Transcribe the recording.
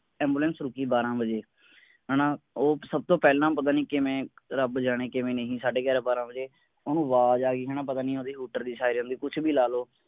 Ambulance ਰੁਕੀ ਬਾਰਹ ਵਜੇ, ਹੈਨਾ ਉਹ ਸਬ ਤੋਂ ਪਹਿਲਾਂ ਪਤਾ ਨੀ ਕਿਵੇਂ ਰੱਬ ਜਾਣੇ ਕਿਵੇਂ ਨਹੀਂ ਸਾਡੇ ਗਿਆਰਾਂ ਬਾਰਹ ਵਜੇ ਓਹਨੂੰ ਆਵਾਜ਼ ਆ ਗਈ ਹੈਨਾ ਪਤਾ ਨੀ ਓਹਦੇ ਹੂਟਰ ਦੀ ਸਾਇਰਨ ਦੀ ਕੁਛ ਬੀ ਲਾਲੋ।